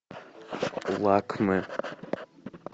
лакме